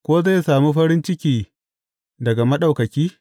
Ko zai sami farin ciki daga Maɗaukaki?